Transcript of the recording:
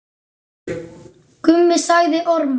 Mummi sagði ormar.